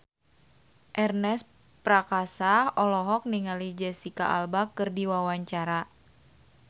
Ernest Prakasa olohok ningali Jesicca Alba keur diwawancara